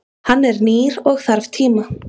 Hann er nýr og þarf tíma.